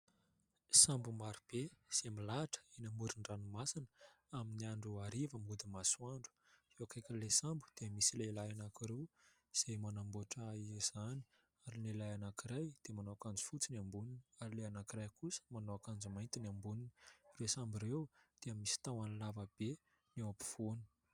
Sambo marobe izay milahatra eny amoron-dranomasina amin'ny andro hariva mody masoandro. Eo akaikin'ilay sambo dia misy lehilahy anankiroa izay manamboatra izany ary ny lehilahy anankiray dia manao akanjo fotsy ny amboniny, ary ilay anankiray kosa manao akanjo mainty ny amboniny. Ireo sambo ireo dia misy tahony lavabe eo ampovoany.